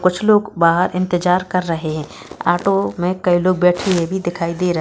कुछ लोग बाहर इंतजार कर रहे हैं ऑटो में कई लोग बैठे हुए भी दिखाई दे रहे--